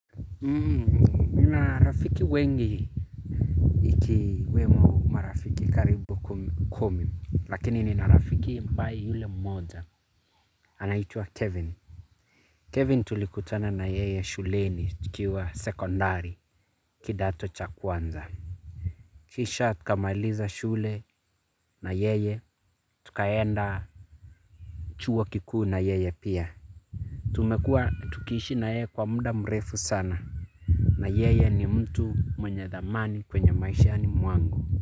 Nina rafiki wengi ikiwemo marafiki karibu kumi. Lakini nina rafiki ambaye yule mmoja Anaitwa Kevin Kevin tulikutana na yeye shuleni tukiwa sekondari kidato cha kwanza. Kisha tukamailiza shule na yeye tukaenda chuo kikuu na yeye pia. Tumekuwa tukiishi na yeye kwa muda mrefu sana. Na yeye ni mtu mwenye dhamani kwenye maishani mwangu.